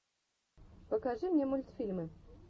покажи мне мультфильмы